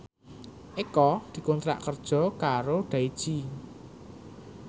Eko dikontrak kerja karo Daichi